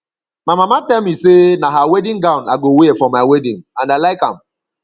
my mama tell me say na her wedding gown i go wear for my wedding and i like am